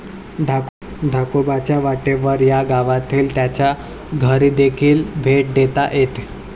धाकोबाच्या वाटेवर या गावातील त्याच्या घरीदेखील भेट देता येत.